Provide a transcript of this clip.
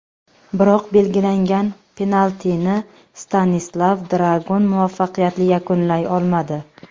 Biroq belgilangan penaltini Stanislav Dragun muvaffaqiyatli yakunlay olmadi.